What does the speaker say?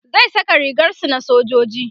zai Saka rigar su na sojoji